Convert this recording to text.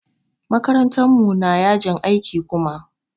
Makarantar mu na yajin aiki Kuma.